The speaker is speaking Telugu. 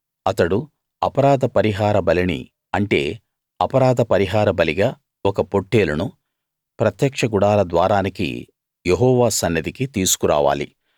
అతడు అపరాధ పరిహార బలిని అంటే అపరాధ పరిహార బలిగా ఒక పొట్టేలును ప్రత్యక్ష గుడార ద్వారానికి యెహోవా సన్నిధికి తీసుకు రావాలి